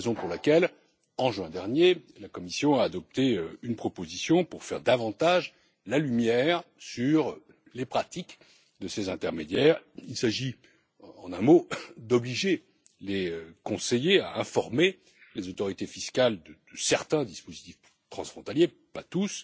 C'est la raison pour laquelle, en juin dernier, la Commission a adopté une proposition pour faire davantage la lumière sur les pratiques de ces intermédiaires. Il s'agit, en un mot, d'obliger les conseillers à informer les autorités fiscales de certains dispositifs transfrontaliers pas tous